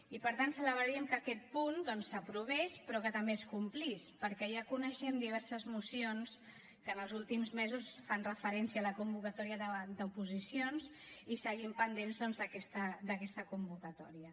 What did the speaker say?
i per tant celebraríem que aquest punt doncs s’aprovés però que també es complís perquè ja coneixem diverses mocions que en els últims mesos fan referència a la convocatòria d’oposicions i seguim pendents doncs d’aquesta convocatòria